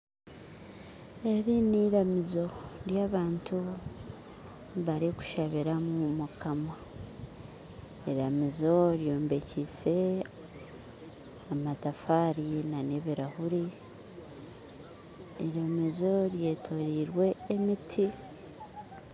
Eri niramizo eri abantu barikushabiramu Mukama iramizo ryombekyise amatafaari na n'ebirahuuri, iramizo ryetorirwe emiti